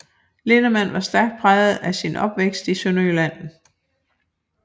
Linnemann var stærk præget af sin opvækst i Sønderjylland